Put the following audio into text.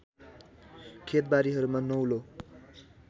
खेतबारीहरूमा नौलो